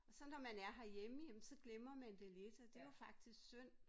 Og så når man er herhjemme jamen så glemmer man det lidt og det jo faktisk synd